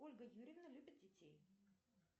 ольга юрьевна любит детей